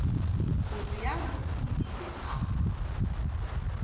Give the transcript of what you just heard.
go realo o ile a